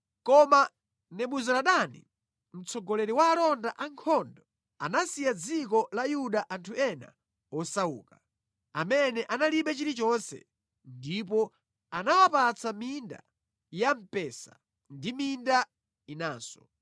Koma Nebuzaradani, mtsogoleri wa alonda ankhondo anasiya mʼdziko la Yuda anthu ena osauka, amene analibe chilichonse; ndipo anawapatsa minda ya mpesa ndi minda inanso.